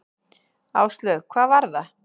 Áslaug: Hvað var það?